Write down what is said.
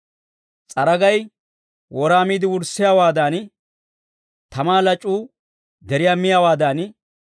S'aragay wora miide wurssiyaawaadan, tamaa lac'uu deriyaa mayiyaawaadan,